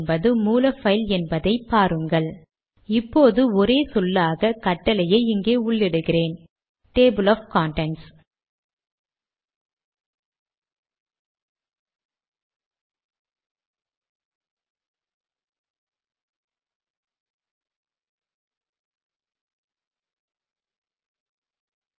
ஒவ்வொரு மாற்றத்தையும் தொடர்ந்து கம்பைலேஷனுக்கு முன்பு சேவ் செய்ய வேண்டும்